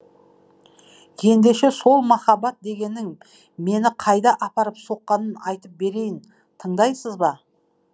ендеше сол махаббат дегенің мені қайда апарып соққанын айтып берейін тыңдайсыз ба